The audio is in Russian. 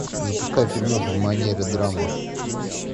запускай фильмуху в манере драмы